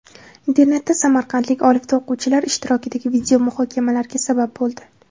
Internetda samarqandlik olifta o‘quvchilar ishtirokidagi video muhokamalarga sabab bo‘ldi .